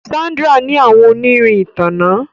Sandra ní àwọn onirin ìtanná